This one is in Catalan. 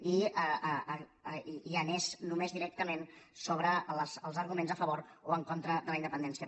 i anés només directament sobre els arguments a favor o en contra de la independència